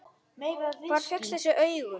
Hvar fékkstu þessi augu?